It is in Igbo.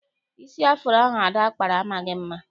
Isi afuro ahụ Ada kpara amaghị mma.